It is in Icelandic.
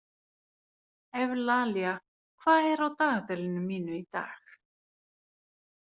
Evlalía, hvað er á dagatalinu mínu í dag?